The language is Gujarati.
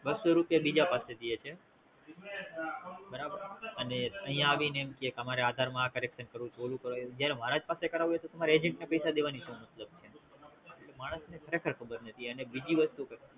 બસો રૂપિયા બીજા પાસે દીયે છે બરાબર અને અહીંયા આવીને એમ કેય અમરે આધાર માં આ Correction કરવું ઓલું કરવું જયારે મારાજ પાસે કરાવવું તું તો Agent ને પૈસા દેવાનો સુ મતલબ છે માણસ ને ક્યાં કે ખબર નથીં અને બીજી વસ્તુ